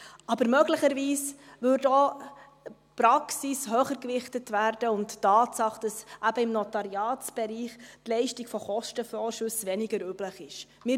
Aber möglicherweise würde auch die Praxis und die Tatsache, dass eben im Notariatsbereich die Leistung von Kostenvorschüssen weniger üblich ist, höher gewichtet.